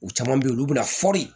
U caman bɛ yen olu bɛna fɔri